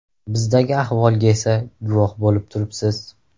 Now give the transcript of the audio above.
Bizdagi ahvolga esa guvoh bo‘lib turibsiz.